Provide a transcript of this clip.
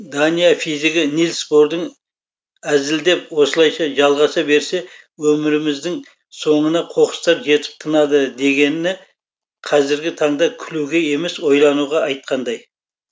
дания физигі нильс бордың әзілдеп осылайша жалғаса берсе өміріміздің соңына қоқыстар жетіп тынады дегені қазіргі таңда күлуге емес ойлануға айтқандай